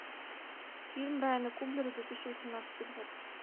фильм райана куглера две тысячи восемнадцатый год